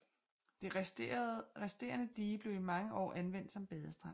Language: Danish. Det resterende dige blev i mange år anvendt som badestrand